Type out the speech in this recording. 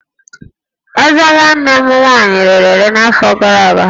Ezé nwanne m nwaanyị rere ere n'afọ gara aga